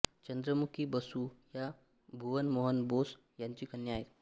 चंद्रमुखी बसु ह्या भुवन मोहन बोस यांची कन्या आहेत